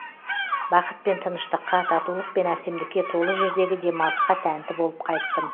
бақыт пен тыныштыққа татулық пен әсемдікке толы жердегі демалысқа тәнті болып қайттым